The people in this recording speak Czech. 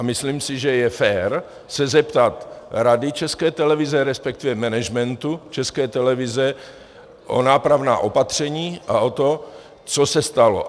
A myslím si, že je fér se zeptat Rady České televize, respektive managementu České televize o nápravná opatření a o to, co se stalo.